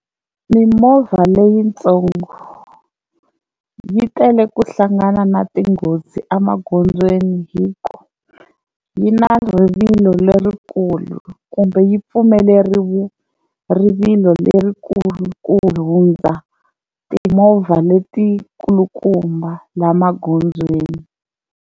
Mimovha leyitsongo yi tele ku hlangana na tinghozi emagondzweni hi ku yi na rivilo lerikulu kumbe yi pfumeleriwe rivilo lerikulu ku hundza timovha letikulukumba laha magondzweni.